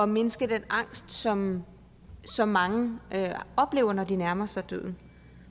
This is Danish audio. mindske den angst som som mange oplever når de nærmer sig døden